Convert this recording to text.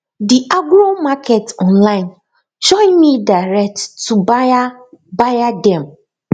the agromarket online join me direct to buyer buyer dem